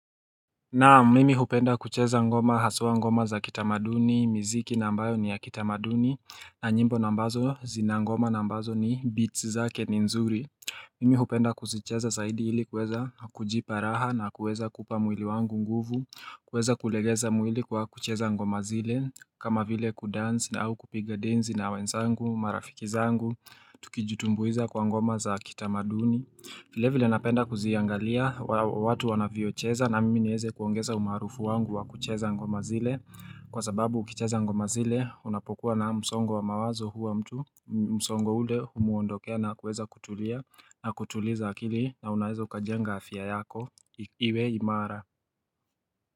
Naam mimi hupenda kucheza ngoma haswa ngoma za kitamaduni, miziki na ambayo ni ya kitamaduni, na nyimbo ambazo zina ngoma na ambazo ni beats zake ni nzuri. Mimi hupenda kuzicheza zaidi ili kuweza kujipa raha na kuweza kuupa mwili wangu nguvu, kuweza kulegeza mwili kwa kucheza ngoma zile, kama vile kudansi au kupiga densi na wenzangu, marafiki zangu, tukijutumbuiza kwa ngoma za kitamaduni. Vile vile napenda kuziangalia watu wanavyocheza na mimi neweze kuongeza umaarufu wangu wa kucheza ngoma zile kwa sababu ukicheza ngoma zile unapokuwa na msongo wa mawazo huwa mtu msongo ule humuondokea na kuweza kutulia na kutuliza akili na unaweza ukajenga afya yako iwe imara.